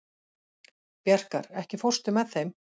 Bjarkar, ekki fórstu með þeim?